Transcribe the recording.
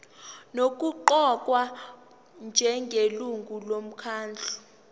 nokuqokwa njengelungu lomkhandlu